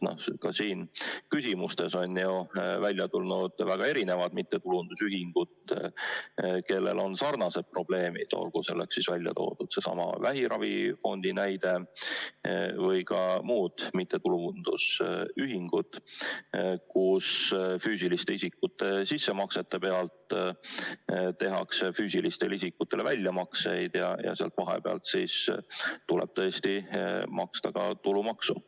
Ka siin küsimustes on ju välja tulnud väga erinevad mittetulundusühingud, kellel on sarnased probleemid, olgu näiteks seesama vähiravifond või ka muud mittetulundusühingud, kus füüsiliste isikute sissemaksete rahast tehakse füüsilistele isikutele väljamakseid ja sel juhul tuleb tõesti maksta ka tulumaksu.